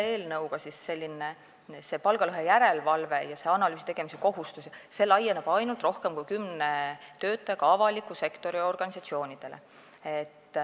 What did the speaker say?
Tõepoolest, palgalõhe järelevalve ja analüüsi tegemise kohustus laieneb selle eelnõuga praegu ainult rohkem kui kümne töötajaga avaliku sektori organisatsioonidele.